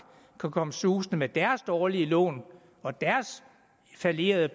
kan komme susende med deres dårlige lån og deres fallerede